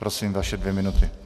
Prosím, vaše dvě minuty.